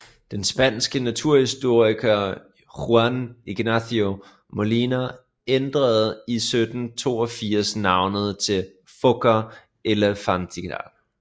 Den spanske naturhistoriker Juan Ignacio Molina ændrede i 1782 navnet til Phoca elephantina